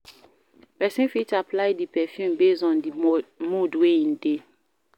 Person fit apply di perfume based on di mood wey in de